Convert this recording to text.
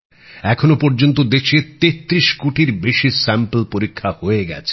এখনও পর্যন্ত দেশে তেত্রিশ কোটির বেশি নমুনা পরীক্ষা হয়ে গেছে